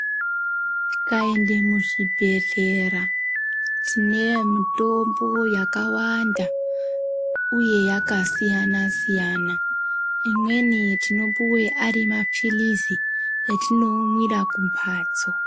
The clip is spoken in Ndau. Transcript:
Tikaenda muzvibhedhlera tine mitombo yakawanda uye yakasiyana siyana imweni tinopuwe arimapirizi atinoonera kumbatso.